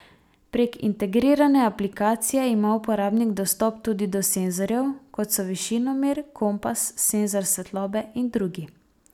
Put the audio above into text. Prek integrirane aplikacije ima uporabnik dostop tudi do senzorjev, kot so višinomer, kompas, senzor svetlobe in drugi.